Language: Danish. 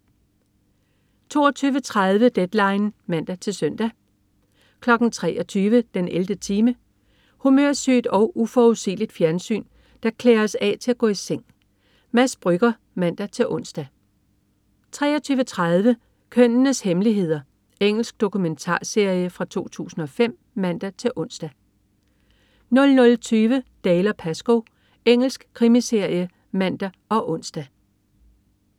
22.30 Deadline (man-søn) 23.00 den 11. time. Humørsygt og uforudsigeligt fjernsyn, der klæder os af til at gå i seng. Mads Brügger (man-ons) 23.30 Kønnenes hemmeligheder. Engelsk dokumentarserie fra 2005 (man-ons) 00.20 Dalziel & Pascoe. Engelsk krimiserie (man og ons)